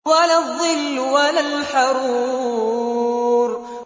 وَلَا الظِّلُّ وَلَا الْحَرُورُ